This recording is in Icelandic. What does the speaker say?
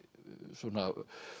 svona